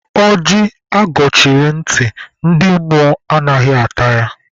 Ọjị agọchiri ntị, ndị mmụọ anaghị ata ya.